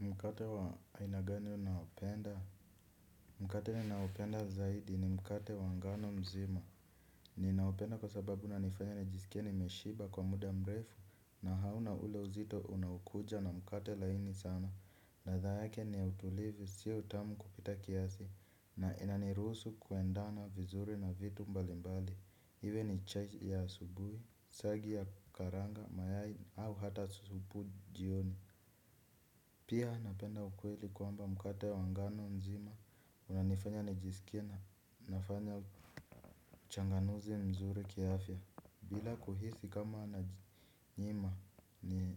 Mkate wa aina gani unapenda. Mkate ninaopenda zaidi ni mkate wa ngano nzima. Ninaopenda kwa sababu unanifanya nijisikie nimeshiba kwa muda mrefu. Na hauna ule uzito unakuja na mkate laini sana. Ladha yake ni utulivu sio utamu kupita kiasi. Na inaniruhusu kuendana vizuri na vitu mbalimbali. Iwe ni chai ya asubuhi, siagi ya karanga, mayai au hata asubuhi na jioni. Pia napenda ukweli kuamba mkate wa ngano nzima unanifanya nijisikie na nafanya uchanganuzi mzuri kiaafya. Bila kuhisi kama najinyima ni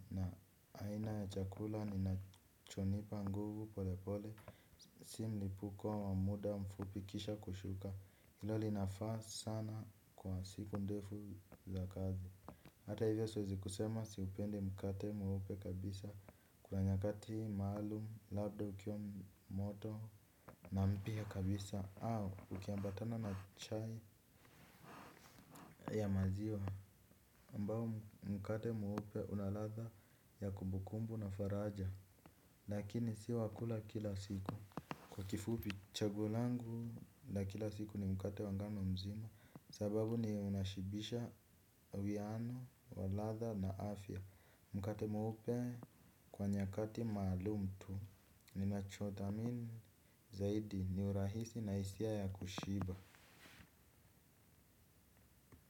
aina ya chakula ninachonipa nguvu polepole. Si m ipuko wa muda mfupi kisha kushuka ilo linafaa sana kwa siku ndefu za kazi. Hata hivyo siwezi kusema siupendi mkate mweupe kabisa kuna nyakati maalum labda ukiwa wamoto na mpya kabisa au ukiambatana na chai ya maziwa ambao mkate mweupe una ladha ya kumbukumbu na faraja lakini sio wakula kila siku kwa kifupi chaguo langu la kila siku ni mkate wa ngano nzima sababu ni unashibisha uwiano wa ladha na afya. Mkate mweupe kwa nyakati maalumu tu ninachothamini zaidi ni urahisi na hisia ya kushiba.